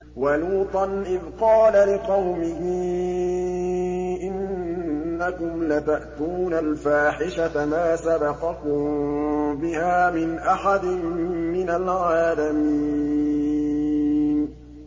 وَلُوطًا إِذْ قَالَ لِقَوْمِهِ إِنَّكُمْ لَتَأْتُونَ الْفَاحِشَةَ مَا سَبَقَكُم بِهَا مِنْ أَحَدٍ مِّنَ الْعَالَمِينَ